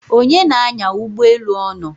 onye na-anya ụgbọelu ọnọ?